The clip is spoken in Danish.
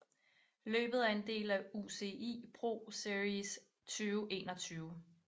Løbet er en del af UCI ProSeries 2021